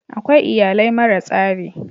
Akwai iyalai mara tsari.